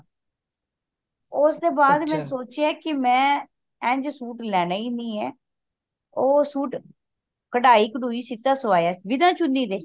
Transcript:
ਓਸ ਦੇ ਬਾਦ ਮੈਂ ਸੋਚਿਆ ਕਿ ਮੈਂ ਇੰਝ ਸੂਟ ਲੈਣਾ ਹੀ ਨਹੀਂ ਏ ਉਹ ਸੂਟ ਕਢਾਇ ਕਢੂਈ ਸੀਤਾ ਸਵਾਯਾ ਬਿਨਾ ਚੁੰਨੀ ਦੇ